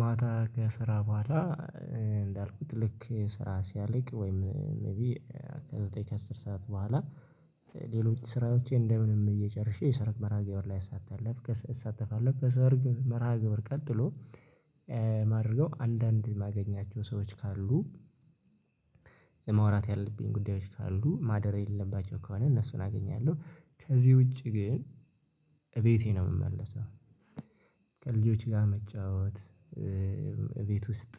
ማታ ከስራ በኋላ እንዳልኩት ልክ ስራ ሲያልቅ ወይም ሜይቢ ከዘጠኝ ከአስር ሰዓት በኋላ ሌሎች ስራዎቼን እንደምንም ብዬ ጨርሼ የሰርግ መርሃ ግብር ላይ አሳተለፍ እሳተፋለሁ ከሰርግ መርሃ ግብር ቀጥሎ ማደርገው አንዳንድ የማገኛቸው ሰዎች ካሉ የመዋራት ያለብኝ ጉዳዮች ካሉ ማደር የሌለባቸው ከሆነ እነሱን አገኛለሁ ከዚህ ውጪ ግን እቤቴ ነው የምመለሰው። ከልጆች ጋር መጫወት ቤት ውስጥ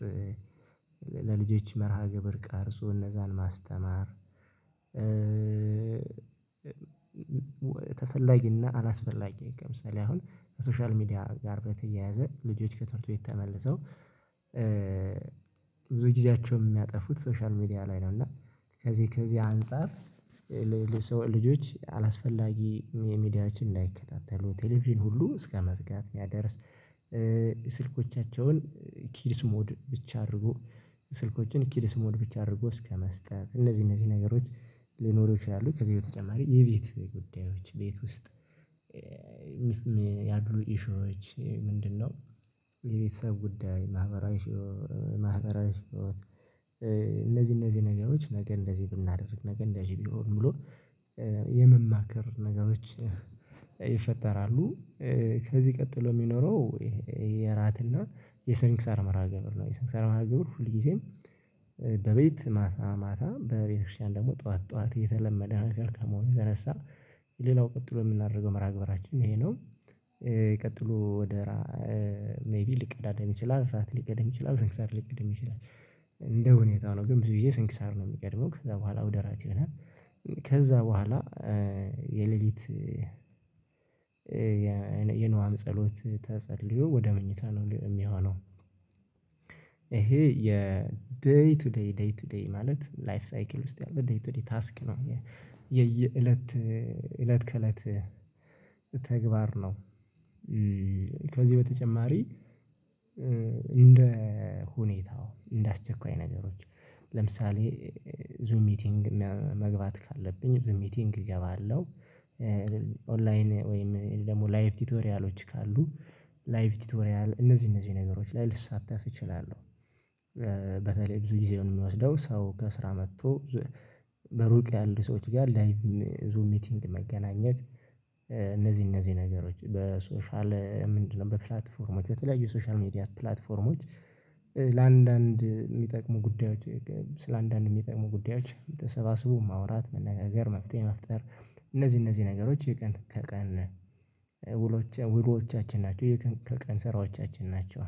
ለልጆች መርሃ ግብር ቀርጾ እነዛን ማስተማር። ተፈላጊ እና አላስፈላጊ ከምሳሌ አሁን ከሶሻል ሚዲያ ጋር በተያያዘ ልጆች ከትምህርት ቤት ተመልሰው ብዙ ጊዜያቸውን የሚያጠፉት ሶሻል ሚዲያ ላይ ነው። እና ከዚህ ከዚህ አንፃር ለሌሎች ልጆች አላስፈላጊ ሚዲያዎችን እንዳይከታተሉ ቴሌቪዥን ሁሉ እስከመዝጋት የሚያደርስ ስልኮቻቸውን ኪድስ ሞድ ብቻ አድርጎ ስልኮችን ኪድስ ሞድ ብቻ አድርጎ እስከመስጠት እነዚህ እነዚህ ነገሮች ሊኖሩ ይችላሉ። ከዚህ በተጨማሪ የቤት ጉዳዮች ቤት ውስጥ ኢሹዎች ምንድነው? የቤተሰብ ጉዳይ ማህበራዊ ማህበራዊ ህይወት እነዚህ እነዚህ ነገሮች ነገ እንደዚህ ብናደርግ ነገ እንደዚህ ቢሆን ብሎ የመማከር ነገሮች ይፈጠራሉ። ከዚህ ቀጥሎ የሚኖረው የእራት እና የሰንክሳር መርሃ ግብር ነው። የሰንክሳር መርሃ ግብር ሁልጊዜም በቤት ማታ ማታ በቤተክርስቲያን ደግሞ ጠዋት ጠዋት የተለመደ ነገር ከመሆኑ የተነሳ ሌላው ቀጥሎ የምናደርገው መርሃ ግብራችን ይሄ ነው። የቀጥሎ ወደ ሜይቢ ሊቀዳደም ይችላል እራት ሊቀድም ይችላል ሰንክሳር ሊቀድም ይችላል እንደ ሁኔታው ነው ግን ብዙ ግዜ ስንክሳር ነው የሚቀድመው ከዛ በኋላ ወደ እራት ይሆናል። ከዛ በኋላ የሌሊት የንዋም ጸሎት ተጸልዮ ወደ መኝታ ነው የሚሆነው። ይሄ የደይ ቱ ደይ ደይ ቱ ደይ ማለት ላይፍ ሳይክል ውስጥ ያለ ደይ ቱ ደይ ታስክ ነው የየእለት እለት ከእለት ተግባር ነው። ከዚህ በተጨማሪ እንደ ሁኔታው እንደ አስቸኳይ ነገሮች ለምሳሌ ዙም ሚቲንግ መግባት ካለብኝ ዙም ሚቲንግ እገባለሁ። ኦንላይን ወይም ደግሞ ላይቭ ቲቶሪያሎች ካሉ ላይቭ ቲቶሪያል እነዚህ እነዚህ ነገሮች ላይ ልሳተፍ እችላለሁ። በተለይ ብዙ ጊዜውን የሚወስደው ሰው ከስራ መጥቶ በሩቅ ያሉ ሰዎች ጋር ላይቭ ዙም ሚቲንግ መገናኘት እነዚህ እነዚህ ነገሮች በሶሻል ምንድነው በፕላትፎርሞች በተለያዩ ሶሻል ሚዲያ ፕላትፎርሞች ለአንዳንድ የሚጠቅሙ ጉዳዮች ስለአንዳንድ የሚጠቅሙ ጉዳዮች ተሰባስቦ ማውራት መነጋገር መፍትሄ መፍጠር እነዚህ እነዚህ ነገሮች የቀን ከቀን ውሎዎቻችን ናቸው። የቀን ከቀን ስራዎቻችን ናቸው።